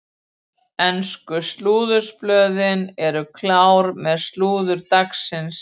Ensku slúðurblöðin eru klár með slúður dagsins.